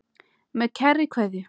Með kærri kveðju.